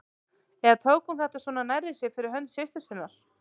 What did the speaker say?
Eða tók hún þetta svona nærri sér fyrir hönd systur sinnar?